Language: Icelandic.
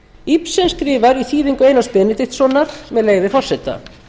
ibsen skrifar í þýðingu einars benediktssonar með leyfi forseta